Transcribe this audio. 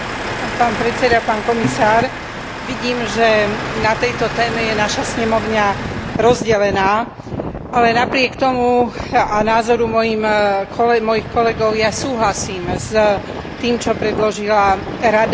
Pán predseda, pán komisár, vidím, že na tejto téme je naša snemovňa rozdelená, ale napriek tomu a napriek názoru mojich kolegov ja súhlasím s tým, čo predložila Rada.